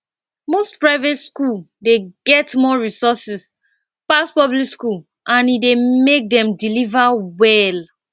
most private school dey get more resources pass public school and e dey make dem deliver well